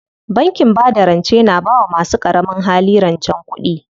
Bankin bada rance na bawa masu ƙaramin hali rancen kuɗi.